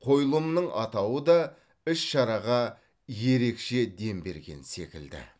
қойылымның атауы да іс шараға ерекше дем берген секілді